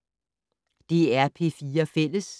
DR P4 Fælles